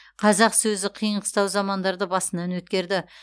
қазақ сөзі қиын қыстау замандарды басынан өткерді